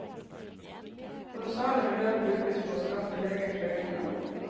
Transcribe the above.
Kolossale beløp brukes på å skaffe leger fra utlandet.